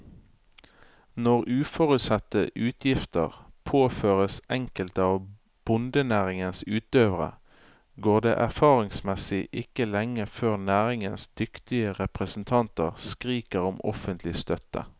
Når uforutsette utgifter påføres enkelte av bondenæringens utøvere, går det erfaringsmessig ikke lenge før næringens dyktige representanter skriker om offentlig støtte.